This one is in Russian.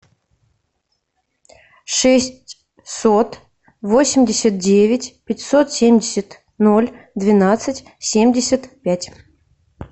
шестьсот восемьдесят девять пятьсот семьдесят ноль двенадцать семьдесят пять